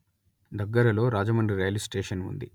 దగ్గరలో రాజమండ్రి రైలుస్టేషన్ ఉంది